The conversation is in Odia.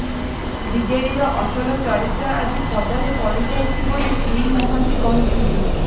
ବିଜେଡିର ଅସଲ ଚରିତ୍ର ଆଜି ପଦାରେ ପଡିଯାଇଛି ବୋଲି ଶ୍ରୀ ମହାନ୍ତି କହିଛନ୍ତି